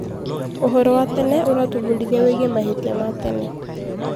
Ũhoro wa tene ũratũbundithia wĩgiĩ mahĩtia ma tene.